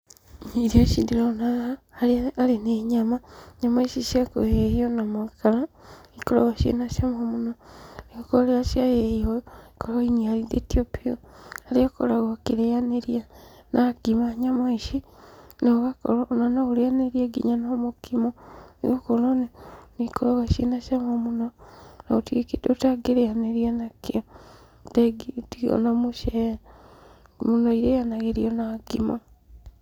Irio ici ndĩrona haha harĩa arĩ nĩ nyama; nyama ici cia kũhĩhio na makara nĩikoragwo ciĩ na cama mũno, nĩgũkorwo rĩrĩa ciahĩhio ũũ ikoragwo iniarithĩtio biu, harĩa ũkoragwo ũkĩrĩanĩria na ngima nyama ici, na ũgakorwo ona no ũrĩanĩrie nginya na mũkimo nĩgũkorwo nĩikoragwo ciĩ na cama mũno, na gũtirĩ kĩndũ ũtangĩrĩanĩria nakĩo, tiga o mucere. Mũno irĩanagĩrio na ngima.